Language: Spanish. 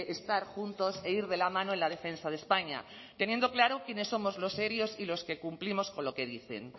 estar juntos e ir de la mano en la defensa de españa teniendo claro quiénes somos los serios y los que cumplimos con lo que dicen